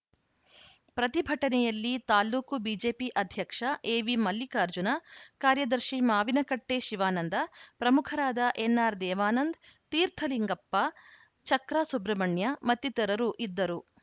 ಪ್ರತಿಭಟನೆಯಲ್ಲಿ ತಾಲೂಕು ಬಿಜೆಪಿ ಅಧ್ಯಕ್ಷ ಎವಿಮಲ್ಲಿಕಾರ್ಜುನ ಕಾರ್ಯದರ್ಶಿ ಮಾವಿನಕಟ್ಟೆಶಿವಾನಂದ ಪ್ರಮುಖರಾದ ಎನ್‌ಆರ್‌ ದೇವಾನಂದ್‌ ತೀರ್ಥಲಿಂಗಪ್ಪ ಚಕ್ರಾ ಸುಬ್ರಹ್ಮಣ್ಯ ಮತ್ತಿತರರು ಇದ್ದರು